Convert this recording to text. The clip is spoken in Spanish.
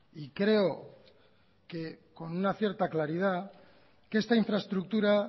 y creo que con una cierta claridad que esta infraestructura